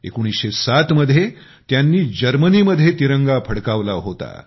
1907 मध्ये त्यांनी जर्मनी मध्ये तिरंगा फडकवला होता